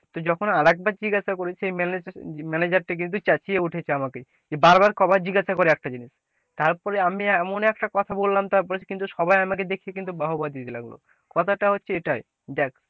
তো যখন আর একবার জিজ্ঞাসা করি তো সে manager manager টা কিন্তু চেঁচিয়ে উঠেছে আমাকে যে বারবার কবার জিজ্ঞাসা কর একটা জিনিস, তারপরে আমি এমন একটা কথা বললাম তারপরে কিন্তু সবাই আমাকে দেখে বাহ বাহ দিতে লাগলো, কথাটা হচ্ছে এটাই,